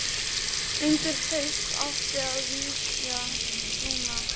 Undir haust átti að vígja brúna.